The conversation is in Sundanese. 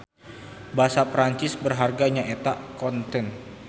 Basa Perancis berharga nya eta coutant.